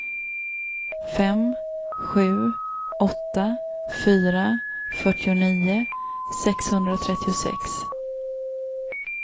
fem sju åtta fyra fyrtionio sexhundratrettiosex